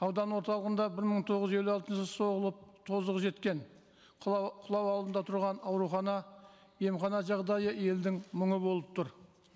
аудан орталығында бір мың тоғыз жүз елу алтыншы соғылып тозығы жеткен құлау алдында тұрған аурухана емхана жағдайы елдің мұңы болып тұр